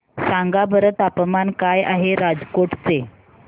सांगा बरं तापमान काय आहे राजकोट चे